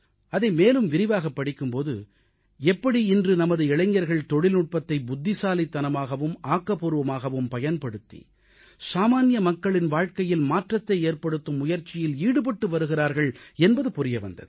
அதை மேலும் விரிவாகப் படிக்கும் போது எப்படி இன்று நமது இளைஞர்கள் தொழில்நுட்பத்தை புத்திசாலித்தனமாகவும் ஆக்கப்பூர்வமாகவும் பயன்படுத்தி சாமான்ய மக்களின் வாழ்க்கையில் மாற்றத்தை ஏற்படுத்தும் முயற்சியில் ஈடுபட்டு வருகிறார்கள் என்பது புரிய வந்தது